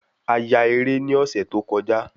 A ya eré ni ọ̀sẹ̀ tó kọjá